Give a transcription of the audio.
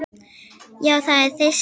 Já, það er þyrstur maður.